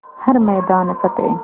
हर मैदान फ़तेह